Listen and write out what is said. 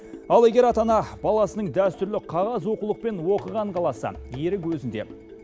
ал егер ата ана баласының дәстүрлі қағаз оқулықпен оқығанын қаласа ерік өзінде